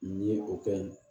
Nin ye o kɛ in